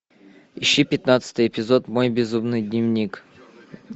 ищи пятнадцатый эпизод мой безумный дневник